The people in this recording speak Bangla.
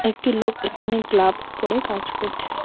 একটি লোক এখানে গ্লাভস পরে কাজ করছে।